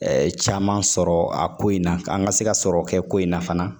caman sɔrɔ a ko in na k'an ka se ka sɔrɔ kɛ ko in na fana